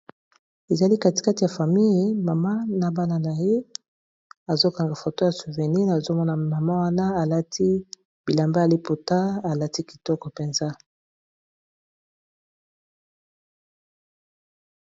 Ezali katikati ya famille mama na bana na ye azokanga foto ya souvenir nazomona mama wana alati bilamba ya liputa alati kitoko mpenza.